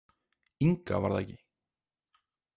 Inga, var það ekki?